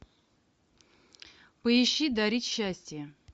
поищи дарить счастье